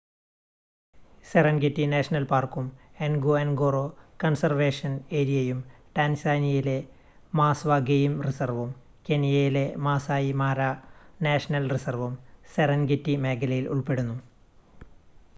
Serengeti national പാർക്കും Ngorongoro conservation ഏരിയയും ടാൻസാനിയയിലെ മാസ്‌വ ഗെയിം റിസർവും കെനിയയിലെ മാസായി മാര നാഷണൽ റിസർവും സെറെൻഗെറ്റി മേഖലയിൽ ഉൾപ്പെടുന്നു